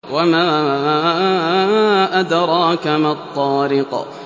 وَمَا أَدْرَاكَ مَا الطَّارِقُ